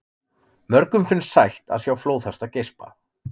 Mörgum finnst sætt að sjá flóðhesta geispa.